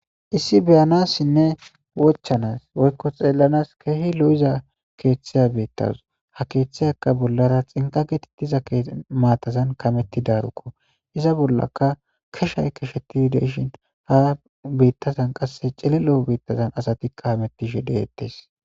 Isiyi ba'anasne wochanas weyko tselanas kehi lo'iza keta betaws. Ha ketaka bolara tsinqa gatetda matan kametraroko, iza bolaka keshayi keshat de'ishin, ha betazan qas chilllo betazanka asat hamutishe detes.